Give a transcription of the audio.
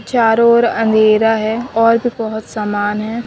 चारों ओर अंधेरा है और भी बहुत सामान है।